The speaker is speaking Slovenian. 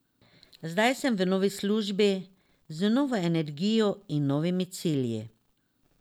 Zdaj sem v novi službi, z novo energijo in novimi cilji.